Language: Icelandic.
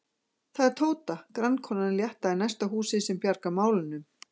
Það er Tóta, grannkonan létta í næsta húsi, sem bjargar mál- unum.